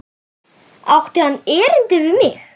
Átti hann erindi við mig?